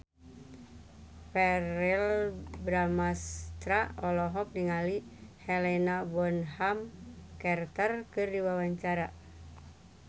Verrell Bramastra olohok ningali Helena Bonham Carter keur diwawancara